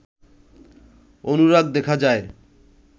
অনুরাগ দেখা যায়